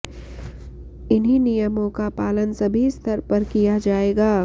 इन्हीं नियमों का पालन सभी स्तर पर किया जायेगा